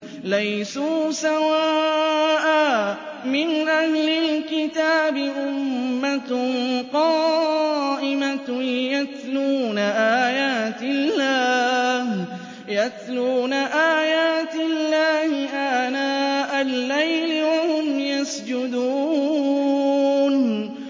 ۞ لَيْسُوا سَوَاءً ۗ مِّنْ أَهْلِ الْكِتَابِ أُمَّةٌ قَائِمَةٌ يَتْلُونَ آيَاتِ اللَّهِ آنَاءَ اللَّيْلِ وَهُمْ يَسْجُدُونَ